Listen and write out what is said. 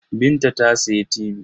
Binta ta sayi tibi.